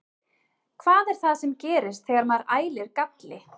Hvað er það sem gerist þegar maður ælir galli?